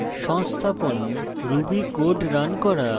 সংস্থাপন ruby code running করা